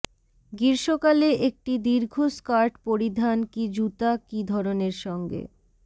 গ্রীষ্মকালে একটি দীর্ঘ স্কার্ট পরিধান কি জুতা কি ধরনের সঙ্গে